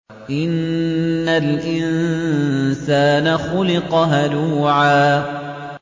۞ إِنَّ الْإِنسَانَ خُلِقَ هَلُوعًا